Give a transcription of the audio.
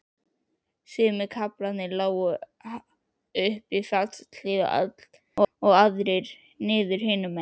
Sumir kaflarnir lágu upp fjallshlíðar og aðrir niður hinum megin.